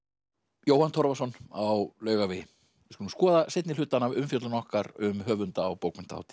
Jóhann Torfason á Laugavegi við skulum skoða seinni hlutann af umfjöllun okkar um höfunda á bókmenntahátíð